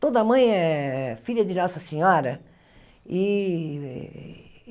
Toda mãe é filha de Nossa Senhora e.